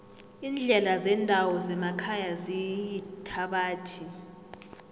iindlela zendawo zemakhaya ziyithabathi